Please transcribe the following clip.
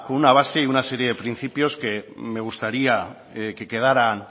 una base y con una serie de principios que me gustaría que quedaran